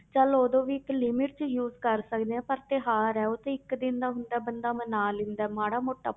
ਚੱਲ ਉਦੋਂ ਵੀ ਇੱਕ limit 'ਚ use ਕਰ ਸਕਦੇ ਹਾਂ ਪਰ ਤਿਉਹਾਰ ਹੈ ਉਹ ਤੇ ਇੱਕ ਦਿਨ ਦਾ ਹੁੰਦਾ ਹੈ ਬੰਦਾ ਮਨਾ ਲੈਂਦਾ ਹੈ ਮਾੜਾ ਮੋਟਾ।